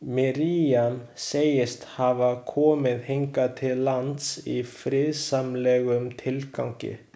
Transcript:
Miriam segist hafa komið hingað til lands í friðsamlegum tilgangi.